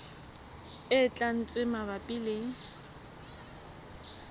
e tlang tse mabapi le